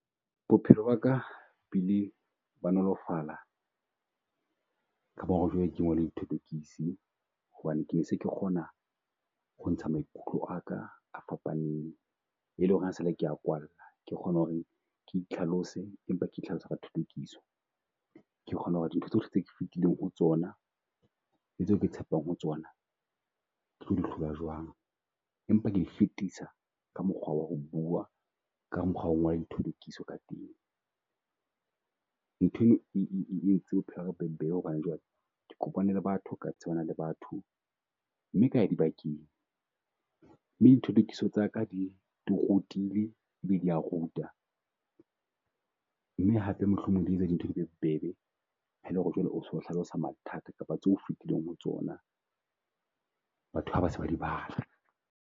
Bophelo ba ka Bo ile ba nolofalla ka bona ho re jwale ke ngole dithothokisi. Hobane ke se ke kgona ho ntsha maikutlo a ka a fapaneng e leng ho re ha sa le ke a kwalla. Ke kgona ho re ke itlhalose empa ke itlhalose ka thothokiso, ke kgona ho re dintho tsohle tse fitileng ho tsona le tseo ke tshepang ho tsona, ke tlo hlola jwang? Empa ke di fetisa ka mokgwa wa ho bua ka mokgwa wa ho ngola dithotokiso ka teng. Ntho e e e e e e entse bophelo ba ka bo be bobebe hobane jwale ke kopane le batho ka tsebana le batho. Mme ka ya di bakeng mme dithothokiso tsaka di rutile e bile di a ruta. Mme hape mohlomong di etsa dintho di be bobebe ha e lo re jwale o so hlalosa mathata kapa tse o fitileng ho tsona. Batho ha ba se ba di bala.